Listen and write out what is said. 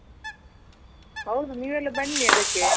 ಹೌದು ನೀವೆಲ್ಲ ಬನ್ನಿ ಅದಕ್ಕೆ.